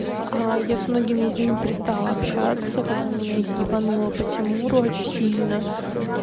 а я с многими из ними перестала общаться когда меня ебануло по тимуру очень сильно